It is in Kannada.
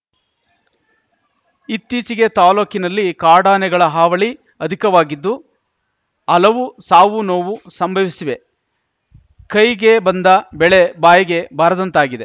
ಇತ್ತೀಚೆಗೆ ತಾಲೂಕಿನಲ್ಲಿ ಕಾಡಾನೆಗಳ ಹಾವಳಿ ಅಧಿಕವಾಗಿದ್ದು ಅಲವು ಸಾವುನೋವು ಸಂಭವಿಸಿವೆ ಕೈಗೆ ಬಂದ ಬೆಳೆ ಬಾಯಿಗೆ ಬಾರದಂತಾಗಿದೆ